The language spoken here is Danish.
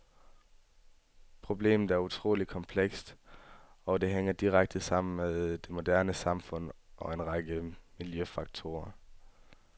Problemet er utroligt komplekst, og det hænger direkte sammen med det moderne samfund og en række miljøfaktorer.